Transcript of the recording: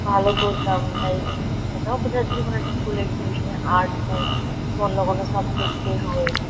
ভালো করতাম। তাইজন্য এটাও বোঝা যাচ্ছে কোনো একটা স্কুল এক্সিবিশান -এর আর্ট হোক বা অন্য কোনো সাবজেক্ট -এর হোক।